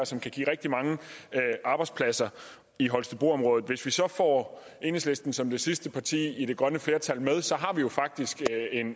og som kan give rigtig mange arbejdspladser i holstebroområdet hvis vi så får enhedslisten som det sidste parti i det grønne flertal med har vi jo faktisk